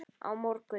Á morgun